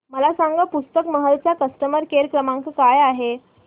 मला सांगा पुस्तक महल चा कस्टमर केअर क्रमांक काय आहे